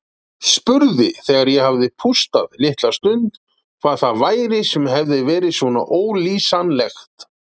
Spurði þegar ég hafði pústað litla stund hvað það væri sem hefði verið svona ólýsanlegt.